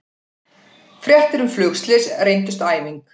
Fréttir um flugslys reyndust æfing